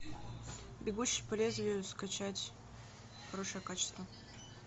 бегущий по лезвию скачать хорошее качество